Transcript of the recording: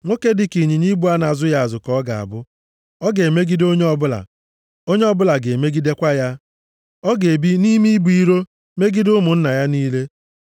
Nwoke dịka ịnyịnya ibu a na-azụghị azụ ka ọ ga-abụ. Ọ ga-emegide onye ọbụla, onye ọbụla ga-emegidekwa ya. Ọ ga-ebi nʼime ibu iro, megide ụmụnna ya niile.”